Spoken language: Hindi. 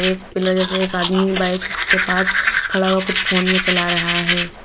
एक पिलर जैसे एक आदमी बाइक के पास खड़ा हुआ कुछ फोन में चला रहा है।